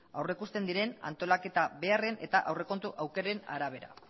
aurreikusten diren antolaketa beharren eta aurrekontu aukeren arabera